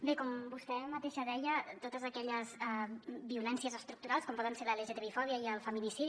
bé com vostè mateixa deia totes aquelles violències estructurals com poden ser la lgtbifòbia i el feminicidi